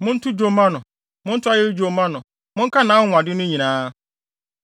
Monto dwom mma no, monto ayeyi dwom mma no; monka nʼanwonwade no nyinaa.